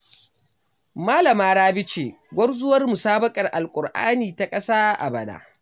Malama Rabi ce gwarzuwar musabaƙar alƙur'ani ta ƙasa a bana.